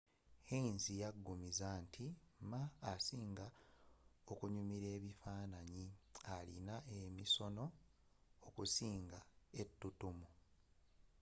hsieh yaggumiza nti ma asinga okunyimila ebifanaanyi alina emisono okusinga ettutumu